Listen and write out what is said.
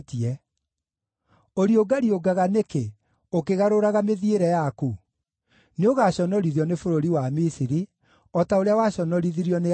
Ũriũngariũngaga nĩkĩ, ũkĩgarũraga mĩthiĩre yaku? Nĩũgaconorithio nĩ bũrũri wa Misiri, o ta ũrĩa waconorithirio nĩ Ashuri.